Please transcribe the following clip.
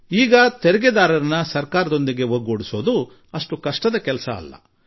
ಈಗ ತೆರಿಗೆದಾರರಿಗೆ ಸರ್ಕಾರದ ತೆರಿಗೆ ವ್ಯವಸ್ಥೆಯೊಡನೆ ಸಂಪರ್ಕ ಹೊಂದುವುದು ಹೆಚ್ಚು ಕಷ್ಟದ ಕೆಲಸವಲ್ಲ